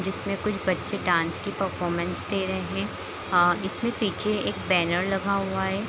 जिसमें कुछ बच्चे डांस के परफॉमस दे रहें आं इसमें पीछे एक बैनर लगा हुआ है।